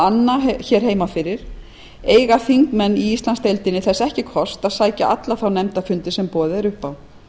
anna heima fyrir eiga þingmenn í íslandsdeildinni þess ekki kost að sækja alla þá nefndafundi sem boðið er upp á